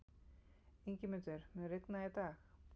Ingimundur, mun rigna í dag?